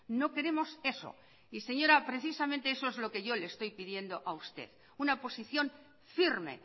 no queremos eso y señora precisamente eso es lo que yo le estoy pidiendo a usted una posición firme